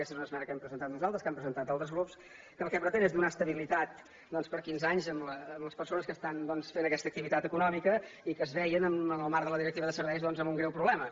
aquesta és una esmena que hem presentat nosaltres que han presentat altres grups que el que pretén és donar estabilitat per quinze anys a les persones que estan fent aquesta activitat econòmica i que es veien en el marc de la directiva de serveis amb un greu problema